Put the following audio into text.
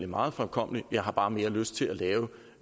meget fremkommeligt jeg har bare mere lyst til at lave